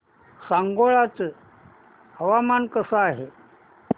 सांगोळा चं हवामान कसं आहे